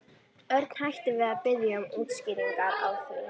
Örn hætti við að biðja um útskýringar á því.